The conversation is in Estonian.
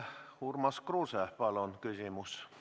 Urmas Kruuse, palun küsimus!